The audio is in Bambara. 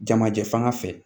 Jamajɛ fan fɛ